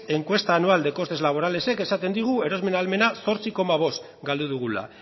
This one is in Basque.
encuesta anual de costes laborales ek esaten digu erosmen ahalmena zortzi koma bost galdu dugula